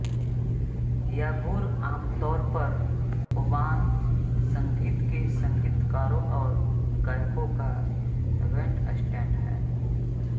यागुर आमतौर पर ओबॉन संगीत के संगीतकारों और गायकों का बैंडस्टैंड है